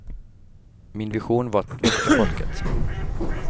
Min vision var att väcka folket.